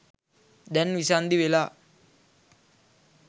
දැන් විසන්ධි වෙලා.